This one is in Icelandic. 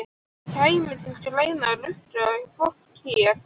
Kæmi til greina að rukka fólk hér?